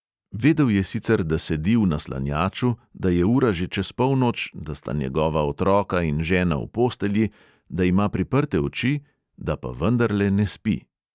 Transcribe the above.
Vedel je sicer, da sedi v naslanjaču, da je ura že čez polnoč, da sta njegova otroka in žena v postelji, da ima priprte oči, da pa vendarle ne spi.